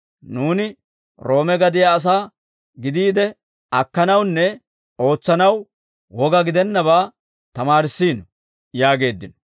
Nuuni Roome gadiyaa asaa gidiide, akkanawunne ootsanaw woga gidennabaa tamaarissiino» yaageeddino.